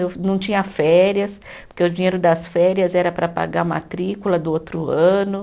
Eu não tinha férias, porque o dinheiro das férias era para pagar matrícula do outro ano.